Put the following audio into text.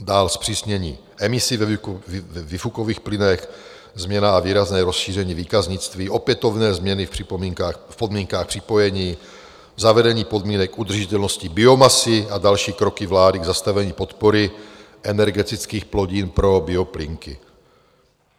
Dále zpřísnění emisí ve výfukových plynech, změna a výrazné rozšíření výkaznictví, opětovné změny v podmínkách připojení, zavedení podmínek udržitelnosti biomasy a další kroky vlády k zastavení podpory energetických plodin pro bioplynky.